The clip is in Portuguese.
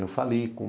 Eu fali com...